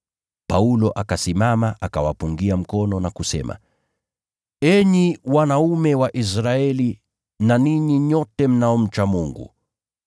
Paulo akasimama, akawapungia mkono na kusema: “Enyi wanaume wa Israeli na ninyi nyote mnaomcha Mungu.